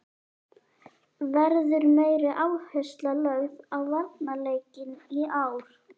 Verður meiri áhersla lögð á varnarleikinn í ár?